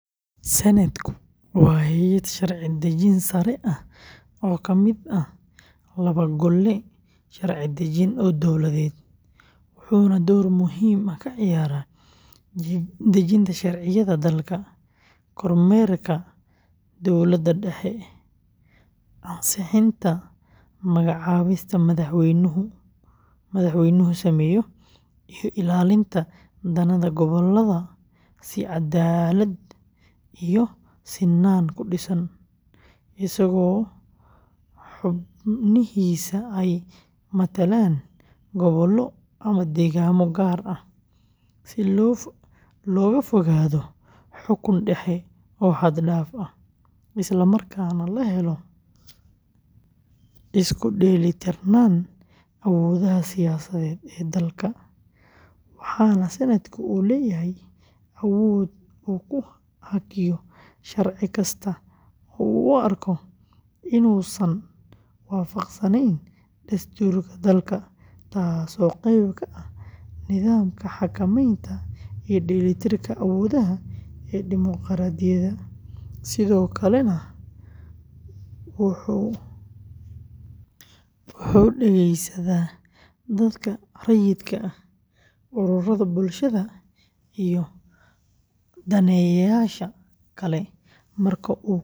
Senate-ku waa hay’ad sharci-dejin sare ah oo ka mid ah laba gole sharci-dejin oo dowladeed, wuxuuna door muhiim ah ka ciyaaraa dejinta sharciyada dalka, kormeerka dowladda dhexe, ansixinta magacaabista madaxweynuhu sameeyo, iyo ilaalinta danaha gobollada si caddaalad iyo sinaan ku dhisan, isagoo xubnihiisa ay matalaan gobollo ama deegaanno gaar ah, si looga fogaado xukun dhexe oo xad dhaaf ah, islamarkaana la helo isku dheelitirnaan awoodaha siyaasadeed ee dalka, waxaana Senate-ku uu leeyahay awood uu ku hakiyo sharci kasta oo uu u arko inuusan waafaqsanayn dastuurka dalka, taas oo qeyb ka ah nidaamka xakameynta iyo dheellitirka awoodaha ee dimuqraadiyadda, sidoo kalena wuxuu dhegeysadaa dadka rayidka ah, ururada bulshada, iyo daneeyayaasha kale marka uu ka doodayo sharciyo saameynaya nolosha dadweynaha.